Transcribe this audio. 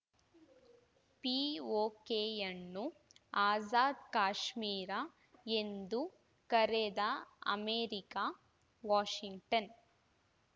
ಪಿಒಕೆಯನ್ನು ಆಜಾದ್‌ ಕಾಶ್ಮೀರ ಎಂದು ಕರೆದ America Washington